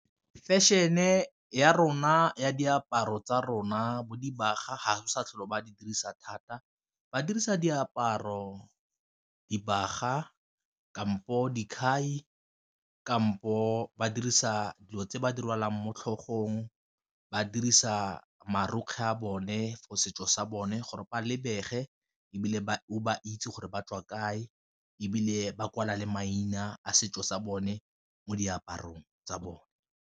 Fashion-e ya rona ya diaparo tsa rona bo dibaga ga go sa tlhole ba di dirisa thata, ba dirisa diaparo, dibaga, kampo dikhai, kampo ba dirisa dilo tse ba di rwalang mo tlhogong, ba dirisa marokgwe a bone for setso sa bone gore ba lebege ebile o ba itse gore ba tswa kae, ebile ba kwala le maina a setso sa bone mo diaparong tsa bone.